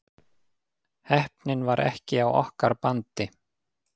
Heppnin var ekki á okkar bandi